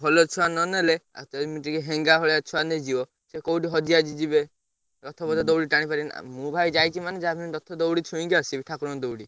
ଭଲ ଛୁଆ ନନେଲେ ଆଉ ଏମତିକି ହେଙ୍ଗା ଭଳିଆ ଛୁଆ ନେଇଯିବ ସିଏ କୋଉଠି ହଜିହାଜି ଯିବେ ରଥ ପଥ ଦଉଡି ଟାଣିପାରିବେନି ଆଉ ମୁଁ ଭାଇ ଯାଇଛି ମାନେ ଯାହା ବି ହେନେ ରଥ ଦଉଡି ଛୁଇଁକି ଆସିବି ଠାକୁରଙ୍କ ଦଉଡି।